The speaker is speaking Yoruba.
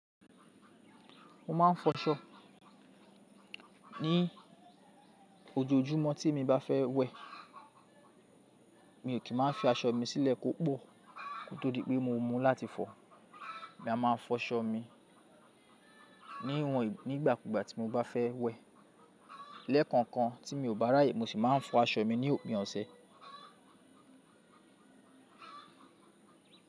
Mo máa ń fọṣọ ní ojoojúmọ́ tí mo bá fẹ́ wẹ, mi ò kí máa fi aṣọ mi sílẹ̀ kó pọ̀, kó tó di pé mo mú láti fọ. Mi a máa fọ aṣọ mi ní ìwọ̀n nígbàkúgbà tí mo bá fẹ́ wẹ. Lẹ́ẹ̀kan kan tí mi ò bá ráyè, mo sì máa ń fọ aṣọ mi ní òpin ọ̀sẹ̀